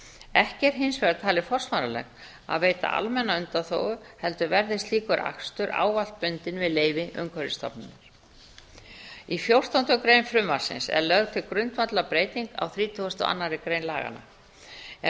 ekki er hins vegar talið forsvaranlegt að veita almenna undanþágu heldur verði slíkur akstur ávallt bundinn við leyfi umhverfisstofnunar í fjórtándu grein frumvarpsins er lögð til grundvallarbreyting á þrítugustu og annarri grein laganna er